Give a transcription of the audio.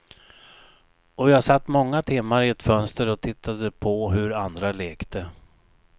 Och jag satt många timmar i ett fönster och tittade på hur andra lekte.